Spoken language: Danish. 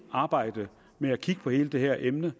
arbejdet med at kigge på hele det her emne